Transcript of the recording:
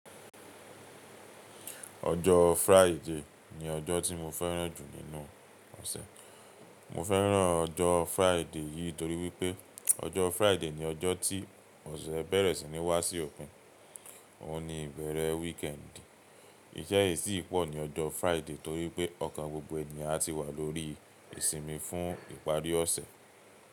Ọjọ́ Fridayyy ni ọjọ́ tí mo fẹ́ràn jù nínú ọ̀sẹ̀. Mo fẹ́ràn ọjọ́ Fridayy yìí torí pé ọjọ́ Fridayy ni ọjọ́ tí ọ̀sẹ̀ bẹ̀rẹ̀ sí ní wá sí ọ̀pin, ó ní ìbẹ̀rẹ̀ wííkẹ̀ǹdì. Ìṣẹ́ yìí sì pọ̀ ní ọjọ́ Fridayy torí pé ọ̀kan gbogbo enìyàn ti wà lórí ìsimi fún ìparí ọ̀sẹ̀.